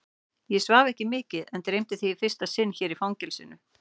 Ég svaf ekki mikið en dreymdi þig í fyrsta sinn hér í fangelsinu.